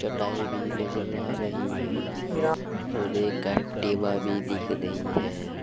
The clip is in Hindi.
चटाई भी नजर आ रही है और एक्टिवा भी दिख रही है।